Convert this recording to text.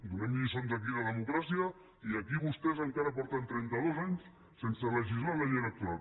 donem lliçons aquí de democràcia i aquí vostès fa trenta dos anys que no legislen la llei electoral